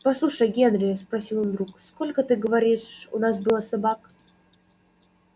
послушай генри спросил он вдруг сколько ты говоришь у нас было собак